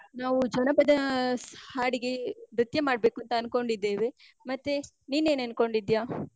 ನಾವ್ ಜನಪದಾ ಹಾಡಿಗೆ ನೃತ್ಯ ಮಾಡಬೇಕೂಂತ ಅನ್ಕೊಂಡಿದ್ದೇವೆ. ಮತ್ತೇ, ನೀನ್ ಏನ್ ಅನ್ಕೊಂಡಿದ್ಯಾ?